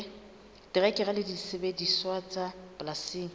terekere le disebediswa tsa polasing